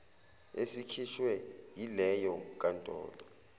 esikhishwe yileyo nkantolo